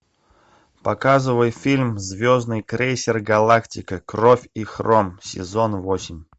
показывай фильм звездный крейсер галактика кровь и хром сезон восемь